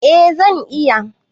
Eh zan iya.